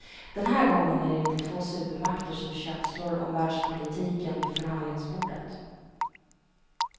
Den här gången är det inte två supermakter som köpslår om världspolitiken vid förhandlingsbordet.